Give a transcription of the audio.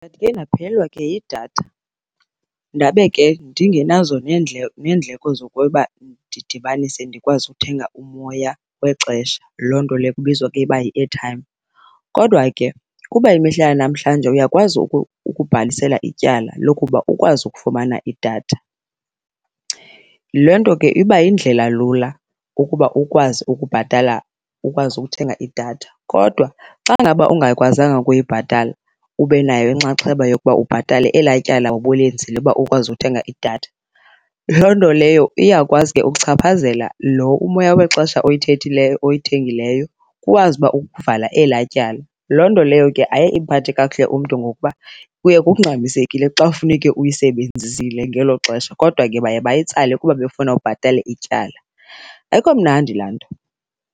Ndandike ndaphelelwa ke yidatha ndabe ke ndingenazo neendleko zokuba ndidibanise ndikwazi uthenga umoya wexesha, loo nto leyo kubizwa ke uba yi-airtime. Kodwa ke kuba imihla yamahlanje uyakwazi ukubhalisela ityala lokuba ukwazi ukufumana idatha, le nto ke iba yindlela lula ukuba ukwazi ukubhatala, ukwazi ukuthenga idatha. Kodwa xa ngaba ungayikwazanga ukuyibhatala ube nayo inxaxheba yokuba ubhatale elaa tyala ubulenzile uba ukwazi uthenga idatha, loo nto leyo iyakwazi ke ukuchaphazela lo umoya wexesha oyithethileyo oyithengileyo ukwazi uba ukuvala elaa tyala. Loo nto leyo ke ayiye imphathe kakuhle umntu ngokuba kuye kungxamisekile xa ufuneke uyisebenzisile ngelo xesha kodwa ke baye bayitsale kuba befuna ubhatale ityala. Ayikho mnandi laa nto.